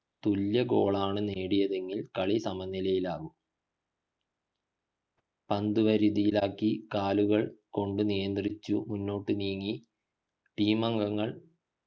തുല്യ goal കളാണ് നേടിയതെങ്കിൽ കാളി സമനിലയിലാകും പന്ത് വരുതിയിലാക്കി കാലുകൾ കൊണ്ട് നിയന്ത്രിച്ച് മുന്നോട്ടു നീങ്ങി team അംഗങ്ങൾ